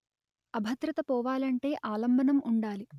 అభద్రత పోవాలంటె ఆలంబనం ఉండాలి